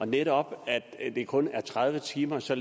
netop kun tredive timer så